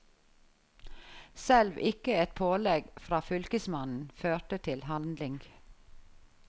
Selv ikke et pålegg fra fylkesmannen førte til handling.